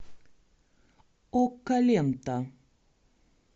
окко лента